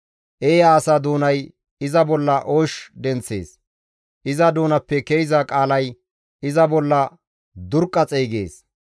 Eeya asa doonay iza bolla oosh denththees; iza doonappe ke7iza qaalay iza bolla durqqa xeygees.